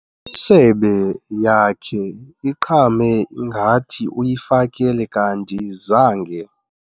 misebe yakhe iqhame ngathi uyifakele kanti zange.